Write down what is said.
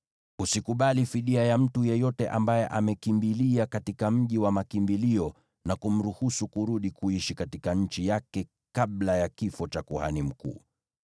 “ ‘Usikubali fidia ya mtu yeyote ambaye amekimbilia katika mji wa makimbilio na kumruhusu kurudi kuishi katika nchi yake kabla ya kifo cha kuhani mkuu.